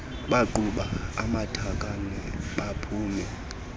baqhuba amatakane baphuma